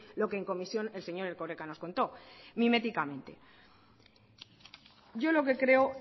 lo que en comisión el señor erkoreka nos contó miméticamente yo lo que creo